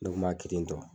Ne kun b'a kirintu